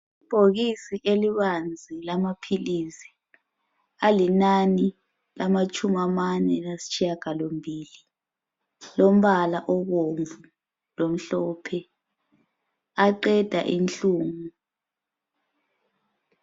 Ibhokisi elibanzi lamaphilisi .Alinani lamatshumi amane lasitshiyangalombili lombala obomvu lomhlophe aqeda inhlungu.